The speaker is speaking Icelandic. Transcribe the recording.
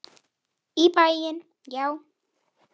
Í bæinn, já!